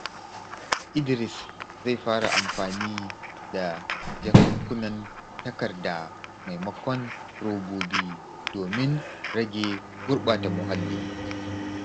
Idris zai fara amfani da jakunkunan takarda maimakon robobi domin rage gurbata muhalli.